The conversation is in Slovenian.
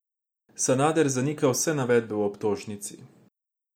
Vrhunec bo oktobrska slavnostna akademija, ki naj bi jo režiral Matjaž Latin.